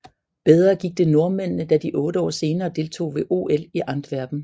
Bedre gik det nordmændene da de otte år senere deltog ved OL i Antwerpen